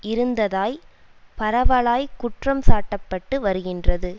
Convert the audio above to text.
இருந்ததாய் பரவலாய் குற்றம் சாட்டப்பட்டு வருகின்றது